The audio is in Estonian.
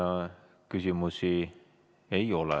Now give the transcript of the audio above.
Teile küsimusi ei ole.